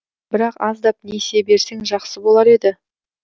бірақ аздап несие берсең жақсы болар еді